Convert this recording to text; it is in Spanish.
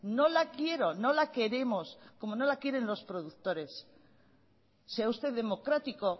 no la quiero no la queremos como no la quieren los productores sea usted democrático